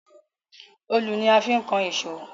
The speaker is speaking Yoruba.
Òòlù ni a fi ń kan ìṣó